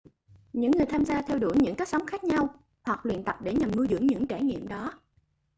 những người tham gia theo đuổi những cách sống khác nhau hoặc luyện tập để nhằm nuôi dưỡng những trải nghiệm đó